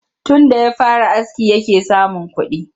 Tunda ya fara aski yake samun kuɗi